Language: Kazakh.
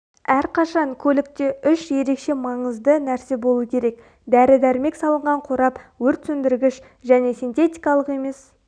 әрқашан көлікте үш ерекше маңызды нәрсе болу керек дәрі дәрмек салынған қорап өртсөндіргіш және синтетикалық емес